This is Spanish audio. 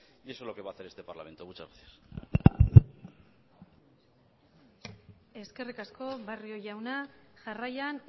y eso es lo que va a hacer este parlamento muchas gracias eskerrik asko barrio jauna jarraian